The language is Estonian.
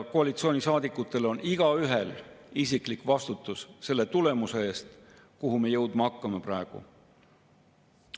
Koalitsioonisaadikutel on igaühel isiklik vastutus selle tulemuse eest, kuhu me praegu hakkame jõudma.